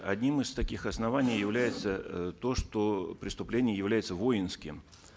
одним из таких оснований является э то что преступление является воинским